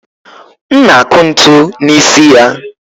m na-akụ ntu n'isi ya